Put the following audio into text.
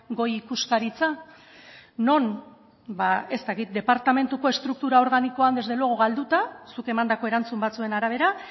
goi ikuskaritza non ez dakit departamentuko estruktura organikoak desde luego galduta zuk emandako erantzun batzuen arabera